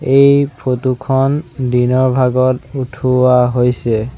এই ফটো খন দিনৰ ভাগত উঠোৱা হৈছে।